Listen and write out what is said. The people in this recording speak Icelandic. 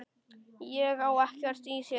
Ég á ekkert í þér!